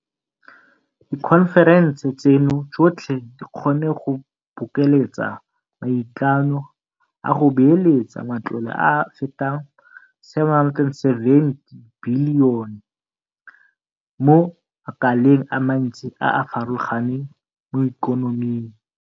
Dikhonferense tseno tsotlhe di kgonne go bokeletsa maikano a go beeletsa matlole a a fetang R770 bilione mo makaleng a mantsi a a farologaneng mo ikonoming.